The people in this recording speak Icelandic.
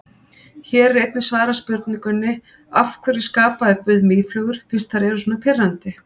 Hér er einnig svarað spurningunni: Af hverju skapaði guð mýflugur fyrst þær eru svona pirrandi?